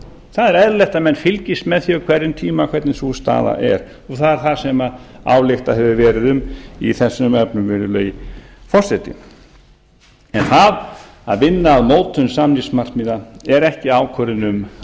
það er eðlilegt að menn fylgist með því á hverjum tíma hvernig sú staða er og það er það sem ályktað hefur verið um í þessum efnum virðulegi forseti en það að vinna að mótun samningsmarkmiða er ekki ákvörðun um